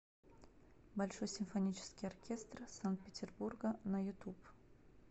большой симфонический оркестр санкт петербурга на ютуб